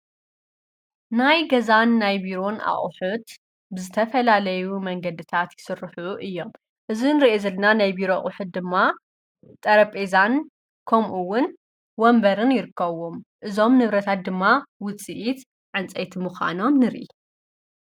ናይ ገዛን ናይ ቢሮን ኣቑሑት ብዝተፈላለዩ መንገድታት ይስርሑ እዮም፡፡ እዚ ንሪኦ ዘለና ናይ ቢሮ ኣቝሕት ድማ ጠረጴዛን ከምኡውን ወንበርን ይርከውም፡፡ እዞም ንብረታት ድማ ውፂኢት ፅንፀይቲ ምዃኖም ንርኢ፡፡